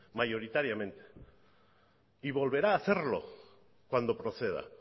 mayoritariamente y volverá a hacerlo cuando proceda